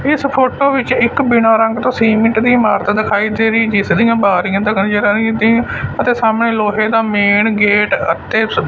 ਇਸ ਫੋਟੋ ਵਿੱਚ ਇੱਕ ਬਿਨਾਂ ਰੰਗ ਤੋਂ ਸੀਮੈਂਟ ਇਟ ਦੀ ਇਮਾਰਤ ਦਿਖਾਈ ਦੇ ਰਹੀ ਹੈ ਤੀਸਰੀ ਬਾਰੀਆਂ ਦਿਖਾਈ ਆ ਰਹੀ ਅਤੇ ਸਾਹਮਣੇ ਲੋਹੇ ਦਾ ਮੇਨ ਗੇਟ ਅਤੇ।